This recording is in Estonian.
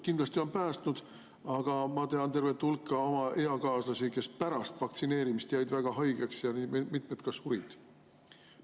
Kindlasti on päästnud, aga ma tean tervet hulka oma eakaaslasi, kes pärast vaktsineerimist jäid väga haigeks, mitmed ka surid.